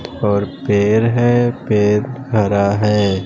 और पेर है पेर खरा है।